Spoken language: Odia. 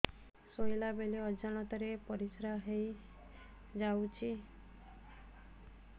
ଶୋଇଲା ବେଳେ ଅଜାଣତ ରେ ପରିସ୍ରା ହେଇଯାଉଛି